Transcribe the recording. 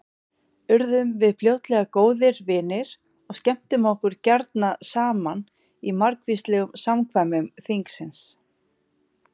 Urðum við fljótlega góðir vinir og skemmtum okkur gjarna saman í margvíslegum samkvæmum þingsins.